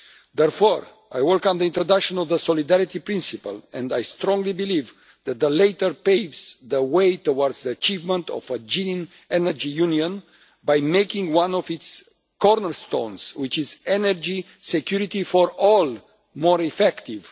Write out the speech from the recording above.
Therefore, I welcome the introduction of the solidarity principle and I strongly believe that the latter paves the way towards the achievement of a genuine energy union by making one of its cornerstones, which is energy security for all, more effective.